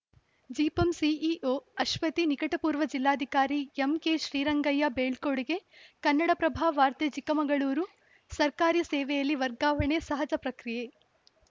ಜಿಪಂ ಸಿಇಒ ಅಶ್ವತಿ ನಿಕಟಪೂರ್ವ ಜಿಲ್ಲಾಧಿಕಾರಿ ಎಂಕೆ ಶ್ರೀರಂಗಯ್ಯಗೆ ಬೀಳ್ಕೊಡುಗೆ ಕನ್ನಡಪ್ರಭ ವಾರ್ತೆ ಚಿಕ್ಕಮಗಳೂರು ಸರ್ಕಾರಿ ಸೇವೆಯಲ್ಲಿ ವರ್ಗಾವಣೆ ಸಹಜ ಪ್ರಕ್ರಿಯೆ